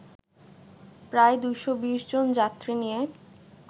প্রায় ২২০ জন যাত্রী নিয়ে